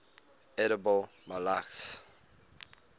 edible molluscs